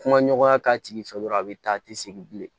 Kuma ɲɔgɔnya k'a tigi fɛ dɔrɔn a bɛ taa a tɛ segin bilen